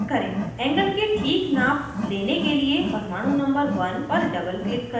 angle की ठीक नाप लेने के लिए परमाणु number 1 पर doubleclick करें